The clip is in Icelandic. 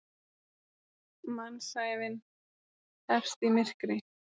Mannsævin hefst í myrkri.